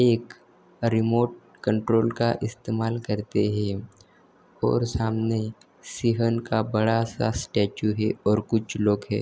एक remote control का इस्तेमाल करते है और सामने शिहन का बड़ा सा स्टैच्यू है और कुछ लोग है।